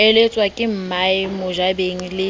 eletswa ke mmae mojabeng le